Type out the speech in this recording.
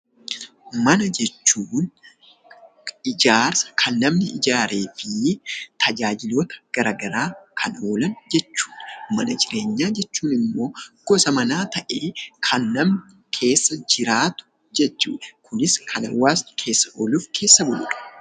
Mana jechuun ijaarsa kan namni ijaaree fi tajaajiloota gara garaaf kan oolan jechuu dha. Mana jireenyaa jechuun immoo, gosa manaa ta'ee, kan namni keessa jiraatu jechuu dha. Kunis kan hawaasni keessa ooluu fi keessa bulu dha.